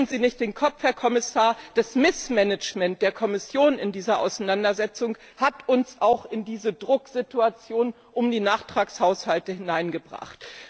Schütteln Sie nicht den Kopf, Herr Kommissar, das Missmanagement der Kommission in dieser Auseinandersetzung hat uns auch in diese Drucksituation um die Nachtragshaushalte hineingebracht.